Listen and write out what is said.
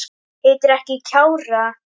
Heitir ekki Kjarrá!